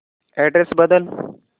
address बदल